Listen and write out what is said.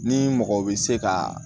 Ni mɔgɔ bɛ se ka